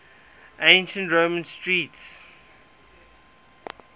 ancient roman street